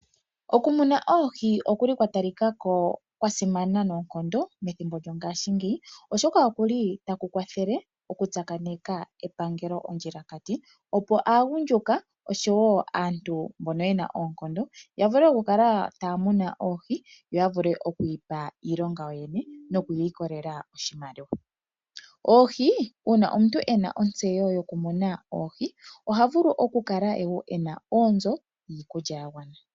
Okumuna oohi okwa talika ko kwa simana methimbo lyongashingeyi, oshoka otaku kwathele okutsakaneka epangelo ondjilakati, opo aagundjuka osho wo aantu mbono ye na oonkondo ya vule okukala taa munu oohi yo ya vule oku ipa iilonga yoyene noku ilikolela oshimaliwa. Uuna omuntu e na ontseyo yokumuna oohi oha vulu okukala e na onzo yiikulya ya gwana.